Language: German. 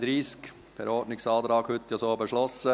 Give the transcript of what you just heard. Dies wurde per Ordnungsantrag heute so beschlossen.